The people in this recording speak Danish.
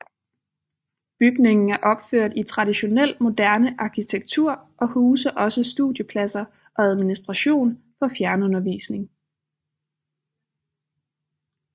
Bygningen er opført i traditionel moderne arkitektur og huser også studiepladser og administration for fjernundervisning